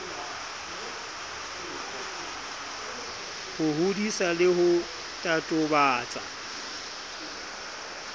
ho hodisa le ho totobatsa